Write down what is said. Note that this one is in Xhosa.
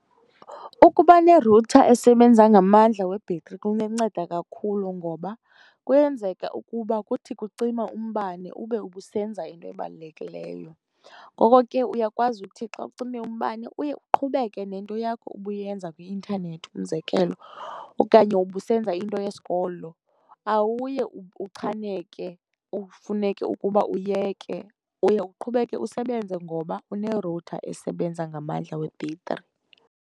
Ukuba nerutha esebenza ngamandla webhetri kunganceda kakhulu ngoba kuyenzeka ukuba kuthi kucima umbane ube ubusenza into ebalulekileyo. Ngoko ke uyakwazi uthi xa kucime umbane uye uqhubeke nento yakho ubuyenza kwi-intanethi, umzekelo, okanye ubusenza into yesikolo, awuye uchaneke ufuneke ukuba uyeke. Uye uqhubeke usebenze ngoba unerutha esebenza ngamandla webhetri.